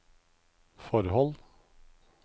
forhold